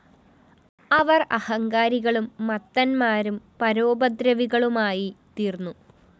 അവര്‍ അഹങ്കാരികളും മത്തന്മാരും പരോപദ്രവികളുമായിത്തീര്‍ന്നു